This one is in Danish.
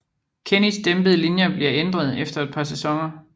Kennys dæmpede linjer bliver ændret efter et par sæsoner